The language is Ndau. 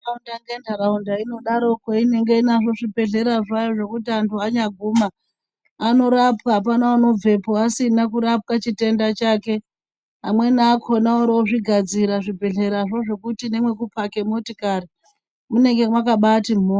Mukati mwenharaunda munondaroko inonga inazvo zvigwehleya zvayo zvekuti antu anyaguma arorapwa ,apana anobvepo asina kurapwa chitenda chake amweni akona waro ozvigadzira zvigwehleyazvo zvekuti nemekupake motikari unenge.